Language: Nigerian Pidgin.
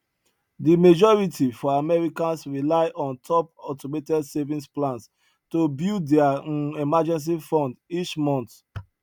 di majority for americans rely on top automated savings plans to build dia um emergency fund each month